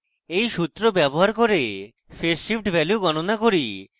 এই সূত্র ব্যবহার করে phase shift value গণনা করি